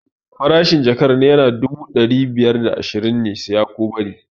Farashin jakar dubu naira ɗari biyar da ashirin ne, siya ko bari!